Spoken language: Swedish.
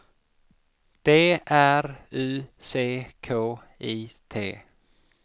D R U C K I T